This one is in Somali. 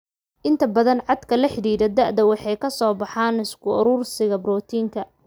Inta badan caadka la xidhiidha da'da waxay ka soo baxaan isku urursiga borotiinka.